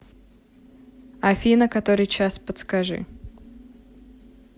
афина который час подскажи